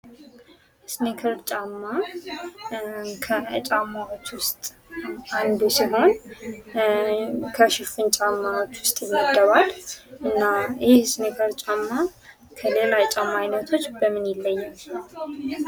ስኒከር ጫማ ከጫማዎች ዉስጥ አንዱ ሲሆን ከሽፍን ጫማዎች ዉስጥ ይመደባል እና ይህ ስኒከር ጫማ ከሌላ ጫማ አይነቶች በምን ይለያል?